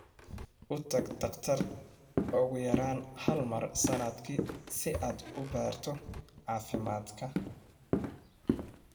U tag dhakhtar ugu yaraan hal mar sannadkii si aad u baaro caafimaad.